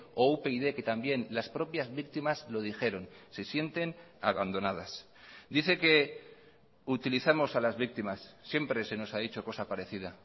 o upyd que también las propias víctimas lo dijeron se sienten abandonadas dice que utilizamos a las víctimas siempre se nos ha dicho cosa parecida